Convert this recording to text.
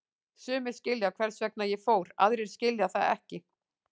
Sumir skilja hvers vegna ég fór, aðrir skilja það ekki.